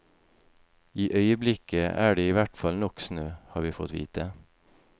I øyeblikket er det i hvert fall nok snø, har vi fått vite.